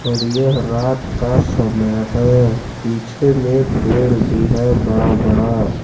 और यह रात का समय है पीछे में पेड़ भी है बड़ा बड़ा।